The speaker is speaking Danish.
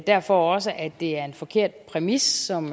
derfor også at det er en forkert præmis som